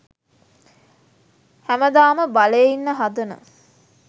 හැමදාම බලේ ඉන්න හදන